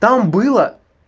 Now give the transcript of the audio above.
там было